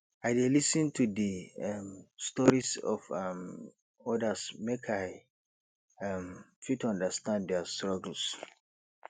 i dey lis ten to di um stories of um odas make i um fit understand dia struggles